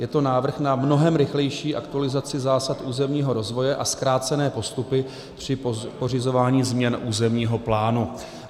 Je to návrh na mnohem rychlejší aktualizaci zásad územního rozvoje a zkrácené postupy při pořizování změn územního plánu.